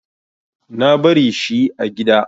Na bari shi a gida.